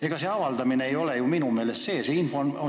Ega see avaldamine ei ole ju minu meelest märk, et seadus kehtib.